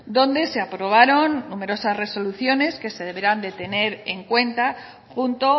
donde se aprobaron numerosas resoluciones que se deberán de tener en cuenta junto